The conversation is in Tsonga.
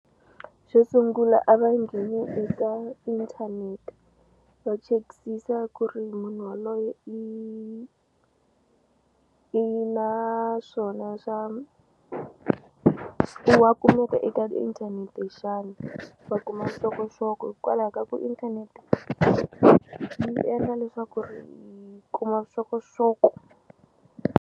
Xo sungula a va ngheni eka inthanete va chekisisa ku ri munhu yaloye i i na swona swa swi eka inthanete xana va kuma vuxokoxoko hikwalaho ka ku inthanete yi endla leswaku ri hi kuma vuxokoxoko.